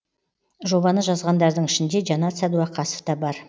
жобаны жазғандардың ішінде жанат сәдуақасов та бар